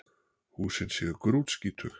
Húsin séu grútskítug